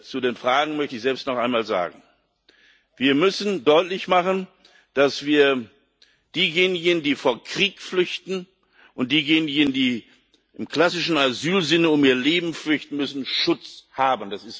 Zu den Fragen selbst möchte ich noch einmal sagen Wir müssen deutlich machen, dass diejenigen, die vor Krieg flüchten, und diejenigen, die im klassischen Asylsinne um ihr Leben fürchten müssen, Schutz haben.